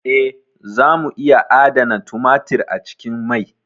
Eh, zamu iya adana tumatir a cikin mai.